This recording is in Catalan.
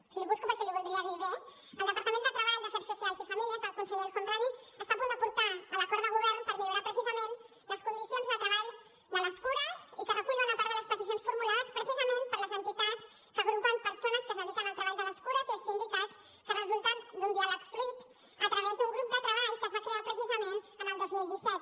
l’hi busco perquè l’hi voldrà dir bé el departament de treball afers socials i famílies del conseller el homrani està a punt de portar l’acord de govern per millorar precisament les condicions de treball de les cures i recull bona part de les peticions formulades precisament per les entitats que agrupen persones que es dediquen al treball de les cures i els sindicats que resulten d’un diàleg fluid a través d’un grup de treball que es va crear precisament el dos mil disset